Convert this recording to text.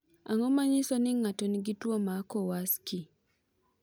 Ang’o ma nyiso ni ng’ato nigi tuwo mar Kowarski?